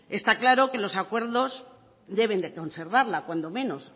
está claro que los acuerdos deben de conservarla cuando menos